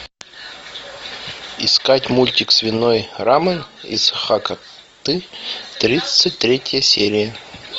искать мультик свиной рамэн из хакаты тридцать третья серия